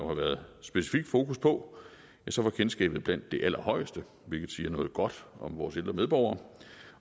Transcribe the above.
har været specifikt fokus på var kendskabet blandt de allerhøjeste hvilket siger noget godt om vores ældre medborgere